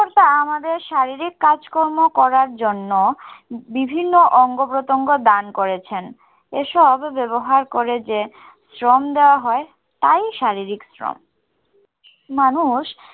কর্তা আমাদের শারীরিক কাজ করার জন্য বিভিন্ন অঙ্গ-প্রত্যঙ্গ দান করেছেন। এসব ব্যবহার ক'রে যে শ্রম দেওয়া হয় তাই শারীরিক শ্রম. মানুষ